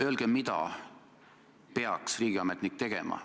Öelge, mida peaks riigiametnik tegema.